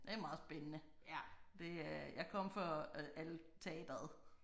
Det er meget spændende. Det øh jeg kom for alt teateret